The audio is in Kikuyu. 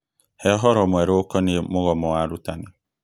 He ũhoro mwerũ ũkoniĩ mũgomo wa arutani.